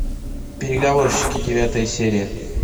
переговорщики девятая серия